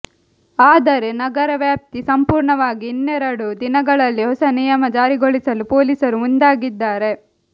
ಆದರೆ ನಗರ ವ್ಯಾಪ್ತಿ ಸಂಪೂರ್ಣವಾಗಿ ಇನ್ನೆರಡು ದಿನಗಳಲ್ಲಿ ಹೊಸ ನಿಯಮ ಜಾರಿಗೊಳಿಸಲು ಪೊಲೀಸರು ಮುಂದಾಗಿದ್ದಾರೆ